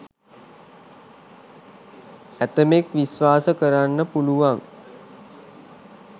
ඇතැමෙක් විශ්වාස කරන්න පුළුවන්